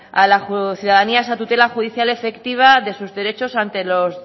a la ciudadanía a esa tutela judicial efectiva de sus derechos ante los